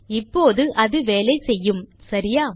இப்போது அது வேலை செய்யும் சரியா